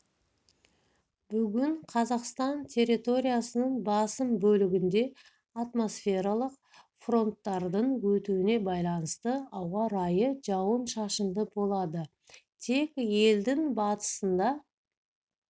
бүгін қазақстан территориясының басым бөлігінде атмосфералық фронттардың өтуіне байланысты ауа райы жауын-шашынды болады тек елдің батысында